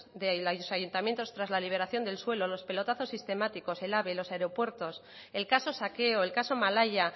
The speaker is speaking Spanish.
de los ayuntamientos tras la liberación del suel los pelotazos sistemáticos el ave los aeropuertos el caso saqueo el caso malaya